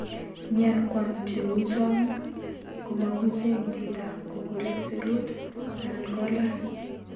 Miankwong cheu chong komakucheng chito kopurit serut anan kolan.